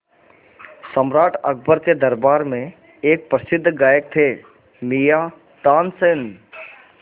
सम्राट अकबर के दरबार में एक प्रसिद्ध गायक थे मियाँ तानसेन